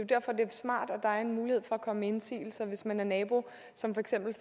derfor det er smart at der er en mulighed for at komme med indsigelser hvis man er en nabo som for eksempel